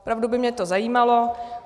Opravdu by mě to zajímalo.